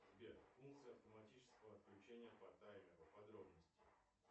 сбер функция автоматического отключения по таймеру подробности